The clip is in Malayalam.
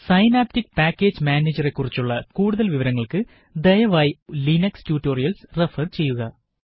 000124 000123 സൈനാപ്റ്റിക് പാക്കേജ് മാനേജരെ കുറിച്ചുള്ള കൂടുതല് വിവരങ്ങള്ക്ക് ദയവായി ലിനക്സ് ട്യൂട്ടോറിയല്സ് റഫര് ചെയ്യുക